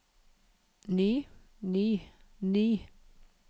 ny ny ny